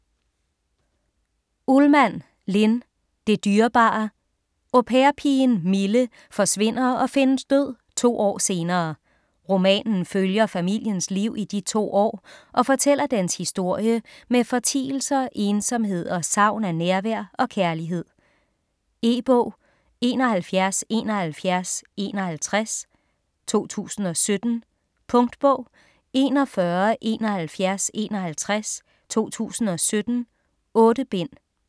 Ullmann, Linn: Det dyrebare Au pair-pigen Mille forsvinder og findes død to år senere. Romanen følger familiens liv i de to år og fortæller dens historie med fortielser, ensomhed og savn af nærvær og kærlighed. E-bog 717151 2017. Punktbog 417151 2017. 8 bind.